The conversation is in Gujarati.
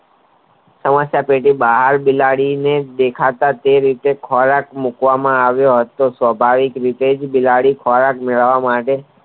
સમસ્યા ટેટી બહાર બિલાડીને દેખાતા તે રીતે કોયાત મુકવામાં આવી તે સ્વાભાવિક રીતે બિલાડી ખોરાક મેળવવા